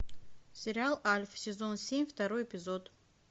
сериал альф сезон семь второй эпизод